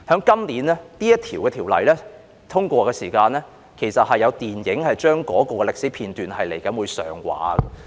今年，當這項法案獲得通過時，有關這段歷史的電影便會上畫。